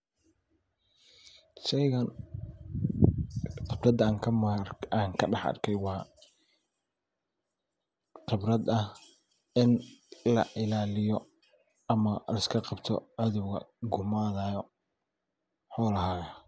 Sheeygan khibradha aan kadhax arkay waa khibradh ahh in lailaaliyo ama liskaqabto cathowga kugumaadhaayo mxu lahaayaa